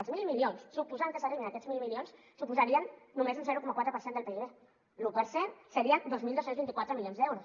els mil milions suposant que s’arribi a aquests mil milions suposarien només un zero coma quatre per cent del pib l’un per cent serien dos mil dos cents i vint quatre milions d’euros